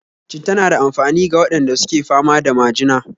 Citta na da amfani ga waɗanda suke fama da majina